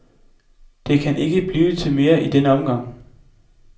Det kan ikke blive til mere i denne omgang.